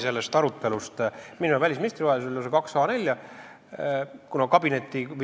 See on lausa kaks A4-lehekülge pikk.